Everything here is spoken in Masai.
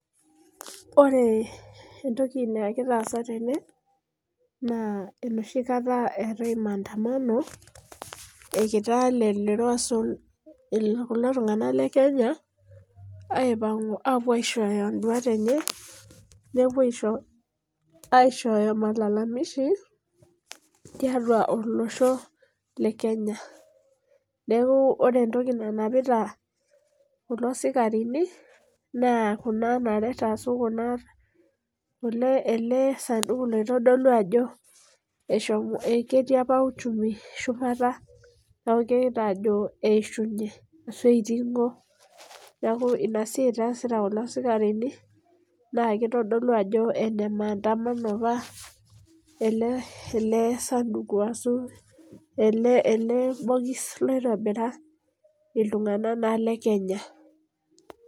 Ore entoki nagira aasa tene, naa enoshi kata eetae maandamano egira elelero ekenya aipangu aishooyo induat enye tialo olosho le Kenya. Niaku ore entoki nanapita kulo sikarini naa inareta ashuu ele sanduku oitodolu ajo eshomo amuu ketii apa uchumi shumata. Niaku ina siai eesita kulo sikarini niaku eitodolu ele bokis oitobira naa iltunganak le Kenya.